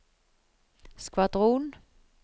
skvadron